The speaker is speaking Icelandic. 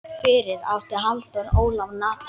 Fyrir átti Halldór Ólaf Natan.